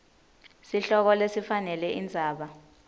sihloko lesifanele indzaba